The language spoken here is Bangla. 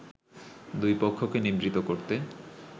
দুই পক্ষকে নিবৃত করতে